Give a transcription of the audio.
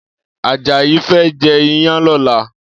Ajayi fè jè iyàn lòlá